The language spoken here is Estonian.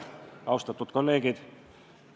Austatud kolleegid!